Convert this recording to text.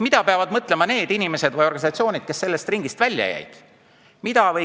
Mida peavad mõtlema need inimesed või organisatsioonid, kes sellest ringist välja jäid?